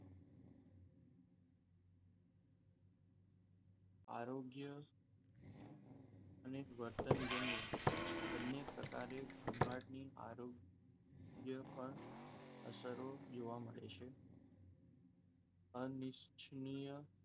આરોગ્ય અને વર્તનજન્ય બંને પ્રકારે ગોંઘાટની આરોગ્ય પર પણ અસરો જોવા મળે છે. અનિચ્છનીય,